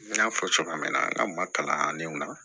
N y'a fɔ cogoya min na n ka maa kalannenw na